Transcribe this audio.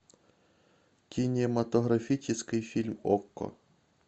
кинематографический фильм окко